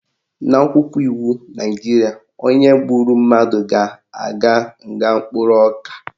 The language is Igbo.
N'akwụkwọ iwu Naijiria, onye gburu mmadụ ga-aga nga mkpụrụ ọka